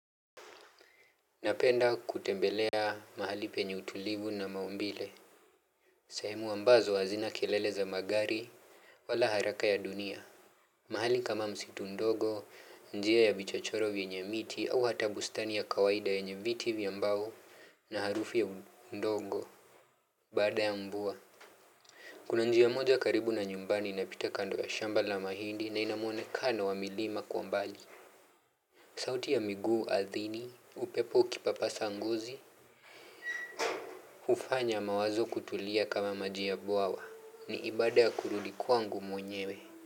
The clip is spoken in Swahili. Napenda kutembelea mahali penye utulivu na maumbile. Sehemu ambazo hazina kelele za magari wala haraka ya dunia. Mahali kama msitu ndogo, njia ya vichochoro vyenye miti au hata bustani ya kawaida yenye viti vya mbao na harufu ya ndogo. Baada ya mvua. Kuna njia moja karibu na nyumbani inapita kando ya shamba la mahindi na inamuonekano wa milima kwa mbali. Sauti ya miguu ardhini, upepo ukipapasa ngozi. Hufanya mawazo kutulia kama maji ya bwawa ni ibada ya kurudi kwangu mwenyewe.